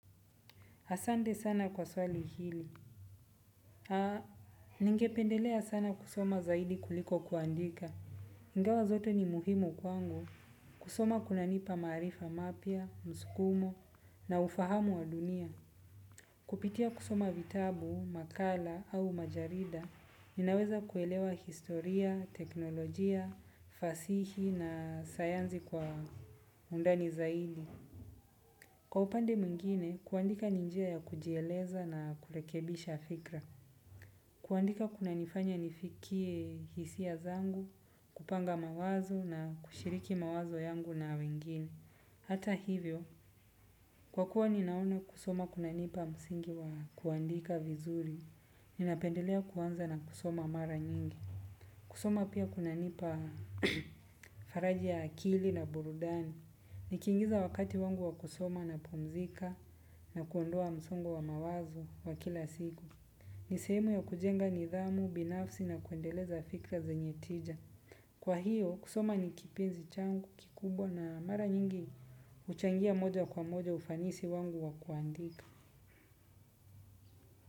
Asante sana kwa swali hili. Ningependelea sana kusoma zaidi kuliko kuandika. iNgawa zote ni muhimu kwangu kusoma kunanipa maarifa mapya, msukumo na ufahamu wa dunia. Kupitia kusoma vitabu, makala au majarida, ninaweza kuelewa historia, teknolojia, fasihi na sayansi kwa undani zaidi. Kwa upande mwingine, kuandika ni njia ya kujieleza na kurekebisha fikra. Kuandika kunanifanya nifikie hisia zangu, kupanga mawazo na kushiriki mawazo yangu na wengine. Hata hivyo, kwa kuwa ninaona kusoma kunanipa msingi wa kuandika vizuri. Ninapendelea kuanza na kusoma mara nyingi. Kusoma pia kunanipa faraja ya akili na burudani. Nikiingiza wakati wangu wa kusoma napumzika na kuondoa msongo wa mawazo wa kila siku. Ni sehemu ya kujenga nidhamu, binafsi na kuendeleza fikra zenye tija. Kwa hiyo, kusoma ni kipenzi changu, kikubwa na mara nyingi huchangia moja kwa moja ufanisi wangu wa kuandika.